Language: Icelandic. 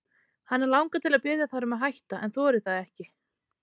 Hana langar til að biðja þær um að hætta en þorir það ekki.